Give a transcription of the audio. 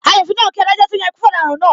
Asofin náà ń kí adájọ́ to yan ikú fún ọ̀daràn náà.